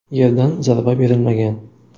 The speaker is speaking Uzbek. Yerdan zarba berilmagan.